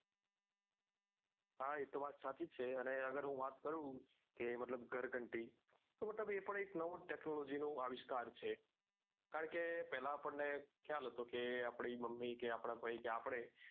હા એ તો વાત સાચી છે અને અગર હું વાત કરું કે મતલબ ઘર ઘંટી તો મતલબ એ પણ એક નવો જ technology નો આવિષ્કાર છે કારણ કે પહેલા આપણને ખ્યાલ હતો કે આપડી મમ્મી કે આપડા ભાઈ કે આપડે